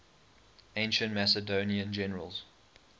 ancient macedonian generals